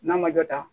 N'a ma dɔ ta